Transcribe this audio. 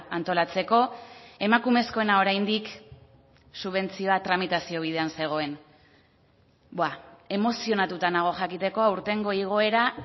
antolatzeko emakumezkoena oraindik subentzioa tramitazio bidean zegoen emozionatuta nago jakiteko aurtengo igoera